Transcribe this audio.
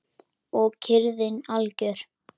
Og kyrrðin algjör.